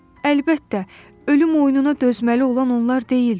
Əlbəttə, ölüm oyununa dözməli olan onlar deyildi.